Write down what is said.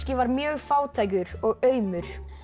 var mjög fátækur og aumur